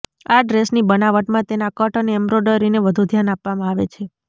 આ ડ્રેસની બનાવટમાં તેના કટ અને એમ્બ્રોડરીને વધુ ધ્યાન આપવામાં આવે છે